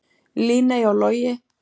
Líney og Logi.